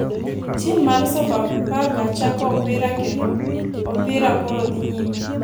Tim mar sofa faka chako opira kendo opira koro dhi nyime.